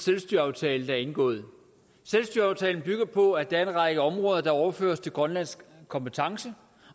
selvstyreaftale der er indgået selvstyreaftalen bygger på at der er en række områder der overføres til grønlandsk kompetence